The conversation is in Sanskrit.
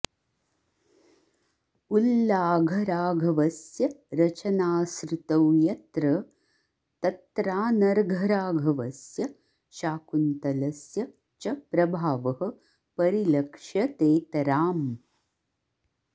उल्लाघराघवस्य रचनासृतौ यत्र तत्रानर्घराघवस्य शाकुन्तलस्य च प्रभावः परिलक्ष्यतेतराम्